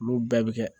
Olu bɛɛ bɛ kɛ